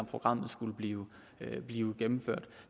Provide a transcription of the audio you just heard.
program skulle blive blive gennemført